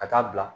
Ka taa bila